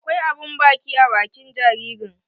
Akwai abun baki a bakin jaririn.